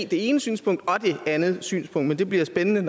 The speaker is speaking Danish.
det ene synspunkt og det andet synspunkt men det bliver jo spændende